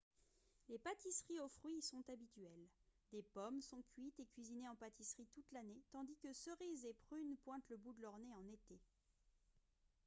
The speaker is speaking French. les pâtisseries aux fruits y sont habituelles des pommes sont cuites et cuisinées en pâtisserie toute l'année tandis que cerises et prunes pointent le bout de leur nez en été